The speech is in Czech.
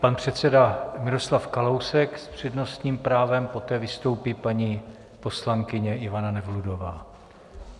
Pan předseda Miroslav Kalousek s přednostním právem, poté vystoupí paní poslankyně Ivana Nevludová.